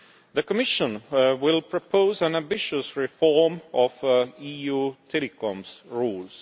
The Commission will propose an ambitious reform of EU telecoms rules.